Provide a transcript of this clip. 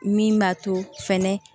Min b'a to fɛnɛ